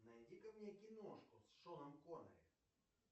найди ка мне киношку с шоном коннери